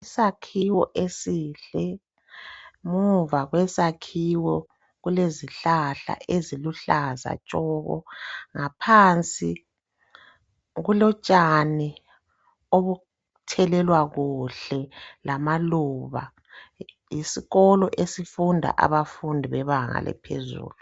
Isakhiwo esihle muva kwesakhiwo kulezihlahla eziluhlaza tshoko, ngaphansi kulotshani obuthelelwa kuhle lamaluba. Yisikolo esifunda abafundi bebanga eliphezulu.